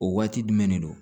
O waati jumɛn de don